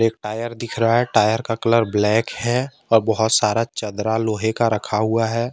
एक टायर दिख रहा है टायर का कलर ब्लैक है और बहोत सारा चदरा लोहे का रखा हुआ है।